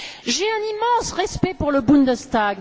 J'ai un immense respect pour le Bundestag.